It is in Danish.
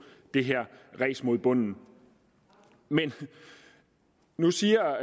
det her ræs mod bunden men nu siger